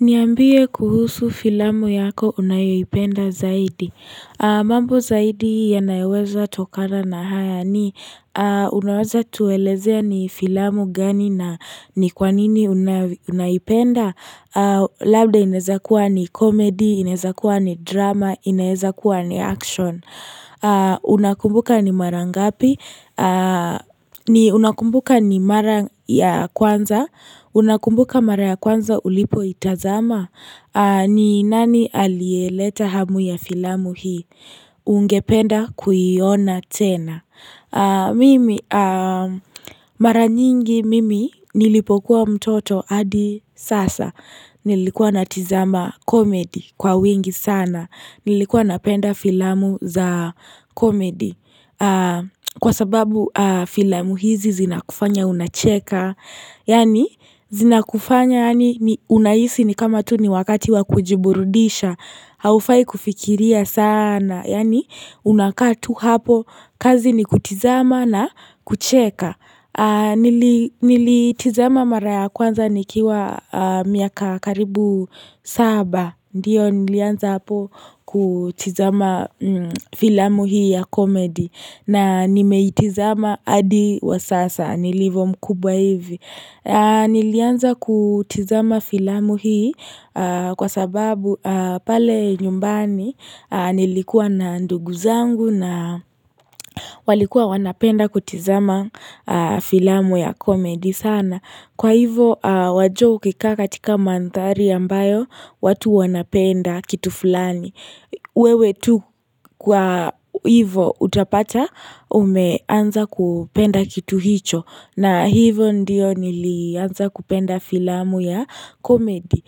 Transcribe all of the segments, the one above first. Niambie kuhusu filamu yako unayoipenda zaidi. Mambo zaidi yanayoweza tokana na haya ni unaweza tuelezea ni filamu gani na ni kwa nini unaipenda? Labda ineweza kuwa ni comedy, inaweza kuwa ni drama, inaweza kuwa ni action. Unakumbuka ni mara ngapi. Una kumbuka ni mara ya kwanza. Una kumbuka mara ya kwanza ulipoitazama? Ni nani aliyeleta hamu ya filamu hii? Ungependa kuiona tena? Mimi Mara nyingi mimi nilipokuwa mtoto hadi sasa Nilikuwa natizama comedy kwa wingi sana. Nilikuwa napenda filamu za comedy, kwa sababu filamu hizi zinakufanya unacheka Yaani, zinakufanya unahisi ni kama tu ni wakati wakujiburudisha Haufai kufikiria sana, yaani una kaa tu hapo, kazi ni kutizama na kucheka Nilitizama mara ya kwanza nikiwa miaka karibu saba. Ndio nilianza hapo kutizama filamu hii ya comedy, na nimeitizama hadi wa sasa nilivo mkubwa hivi Nilianza kutizama filamu hii, kwa sababu pale nyumbani nilikuwa na ndugu zangu, na walikuwa wanapenda kutizama filamu ya comeydy sana. Kwa hivyo wajua ukikaa katika mandhari ambayo watu wanapenda kitu fulani wewe tu kwa hivo utapata umeanza kupenda kitu hicho. Na hivo ndio nilianza kupenda filamu ya comedy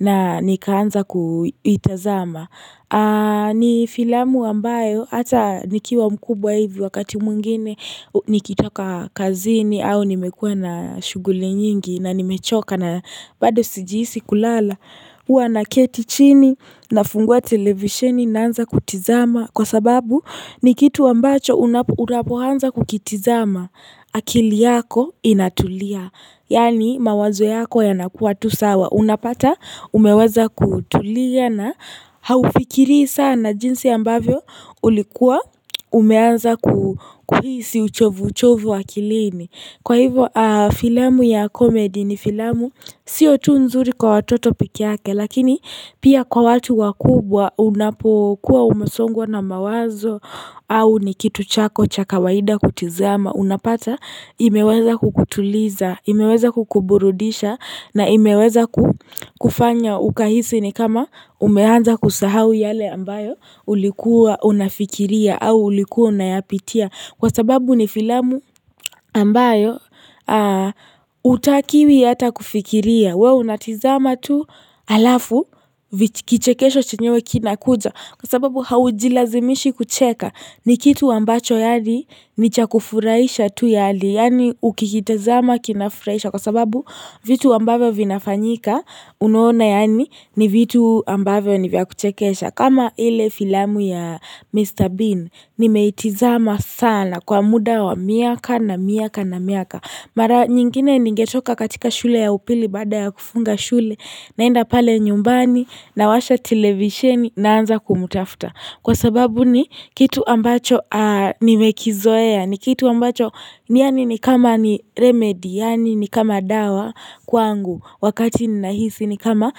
na nikaanza kuitazama ni filamu ambayo hata nikiwa mkubwa hivi wakati mwingine Nikitoka kazini, au nimekuwa na shughuli nyingi na nimechoka na bado sijihisi kulala huwa na keti chini nafungua televisheni naanza kutizama, kwa sababu ni kitu ambacho unapoanza kukitizama, akili yako inatulia. Yaani mawazo yako yanakuwa tu sawa. Unapata umeweza kutulia na haufikirii sana, jinsi ambavyo ulikuwa umeanza kuhisi uchovu uchovu akilini. Kwa hivyo, filamu ya comedy ni filamu, sio tu nzuri kwa watoto pekee yake, lakini pia kwa watu wakubwa unapokuwa umesongwa na mawazo au ni kitu chako cha kawaida kutizama, unapata imeweza kukutuliza imeweza kukuburudisha na imeweza kufanya ukahisi ni kama umeanza kusahau yale ambayo ulikuwa unafikiria, au ulikuwa unayapitia, kwa sababu ni filamu ambayo hutakiwi hata kufikiria, wewe unatizama tu, alafu kichekesho chenyewe kinakuja, kwa sababu haujilazimishi kucheka, ni kitu ambacho yaani ni cha kufuraisha tu yaani. Yaani ukikitazama kinafuraisha kwa sababu vitu ambavyo vinafanyika unaona yaani ni vitu ambavyo ni vya kuchekesha, kama ile filamu ya Mr. Bean, nimeitizama sana kwa muda wa miaka na miaka na miaka. Mara nyingine ningetoka katika shule ya upili baada ya kufunga shule, naenda pale nyumbani, nawasha televisheni, naanza kumtafta. Kwa sababu ni kitu ambacho nimekizoea, ni kitu ambacho ni yaani ni kama ni remedy, yaani ni kama dawa kwangu. Wakati ninahisi, ni kama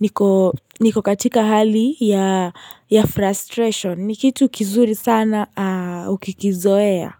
niko katika hali ya frustration. Ni kitu kizuri sana, ukikizoea.